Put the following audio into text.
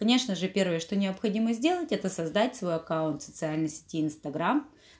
конечно же первое что необходимо сделать это создать свой аккаунт в социальной сети инстаграм